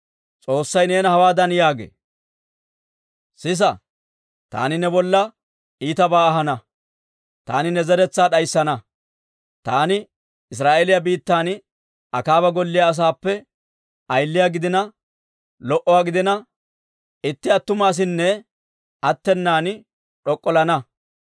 S'oossay neena hawaadan yaagee; ‹Sisa, taani ne bolla iitabaa ahana. Taani ne zeretsaa d'ayssana; taani Israa'eeliyaa biittan Akaaba golliyaa asaappe ayiliyaa gidina lo"uwaa gidina, itti attuma asinne attenan d'ok'ollana.